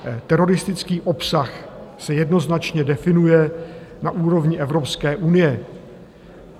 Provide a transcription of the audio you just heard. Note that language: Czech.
Teroristický obsah se jednoznačně definuje na úrovni Evropské unie.